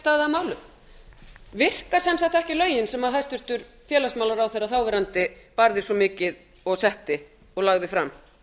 staðið að málum virka sem sagt ekki lögin sem hæstvirtur félagsmálaráðherra þáverandi barðist svo mikið og setti og lagði fram